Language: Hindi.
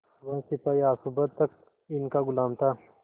वह सिपाही आज सुबह तक इनका गुलाम था